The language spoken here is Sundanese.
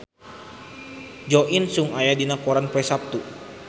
Jo In Sung aya dina koran poe Saptu